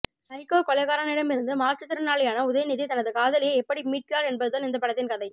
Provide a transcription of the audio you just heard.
psycho கொலைகாரனிடமிருந்து மாற்றுத்திறனாளியான உதயநிதி தனது காதலியை எப்படி மீட்கிறார் என்பதுதான் இந்த படத்தின் கதை